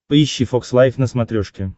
поищи фокс лайф на смотрешке